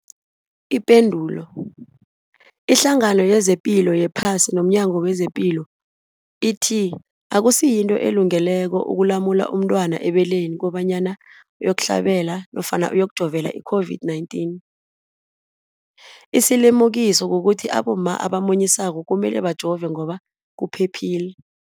Ipendulo, iHlangano yezePilo yePhasi nomNyango wezePilo ithi akusinto elungileko ukulumula umntwana ebeleni kobanyana uyokuhlabela nofana uyokujovela i-COVID-19. Isilimukiso kukuthi abomma abamunyisako kumele bajove ngoba kuphephile.